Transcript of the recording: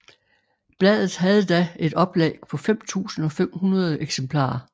Bladet havde da et oplag på 5500 eksemplarer